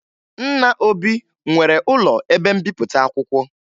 Nna Obi nwere ụlọ ebe mbipụta akwụkwọ